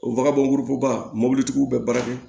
O bagankuru bɔ baga mɔbilitigiw bɛ baara kɛ